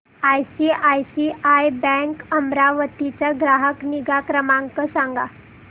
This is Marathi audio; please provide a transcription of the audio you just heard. आयसीआयसीआय बँक अमरावती चा ग्राहक निगा क्रमांक सांगा